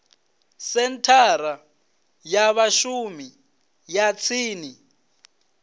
senthara ya vhashumi ya tsini